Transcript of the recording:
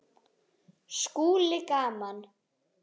SKÚLI: Gaman!